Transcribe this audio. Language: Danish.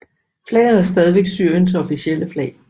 Flaget er stadig Syriens officielle flag